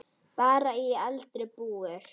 Bara í eldra búri.